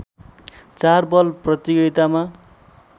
चार बल प्रतियोगितामा